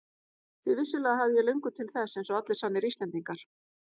Því vissulega hafði ég löngun til þess eins og allir sannir Íslendingar.